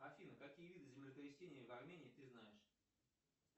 афина какие виды землетрясений в армении ты знаешь